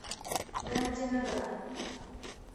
гандинагар